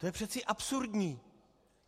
To je přece absurdní!